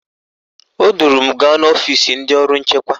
O duru m gaa n'ọfisi ndị ọrụ nchekwa